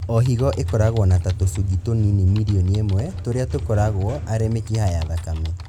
O higo ĩkoragwo na ta tũcungi tũnini mirioni ĩmwe tũrĩa tũkoragwo arĩ mĩkiha ya thakame